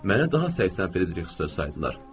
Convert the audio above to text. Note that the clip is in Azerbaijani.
Mənə daha 80 frieriks dörm saydılar.